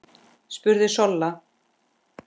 spurði Solla.